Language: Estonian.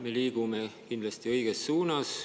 Me liigume kindlasti õiges suunas.